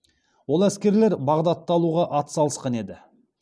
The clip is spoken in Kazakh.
ол әскерлер бағдатты алуға атсалысқан еді